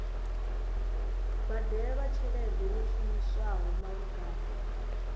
badelwa tshelede yo shumiswaho malugana